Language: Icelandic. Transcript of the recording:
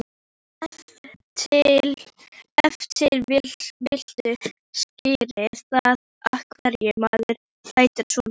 Ef til vill skýrir það af hverju maðurinn lætur svona.